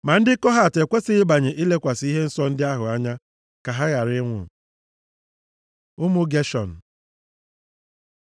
Ma ndị Kohat ekwesighị ịbanye ilekwasị ihe nsọ ndị ahụ anya, ka ha ghara ịnwụ.” Ụmụ Geshọn